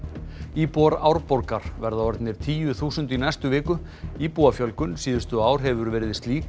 íbúar Árborgar verða orðnir tíu þúsund í næstu viku íbúafjölgun síðustu ár hefur verið slík